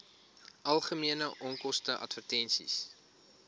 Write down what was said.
algemene onkoste advertensies